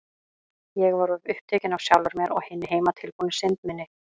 Ég var of upptekin af sjálfri mér og hinni heimatilbúnu synd minni.